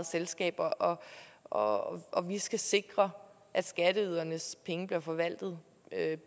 selskaber og og vi skal sikre at skatteydernes penge bliver forvaltet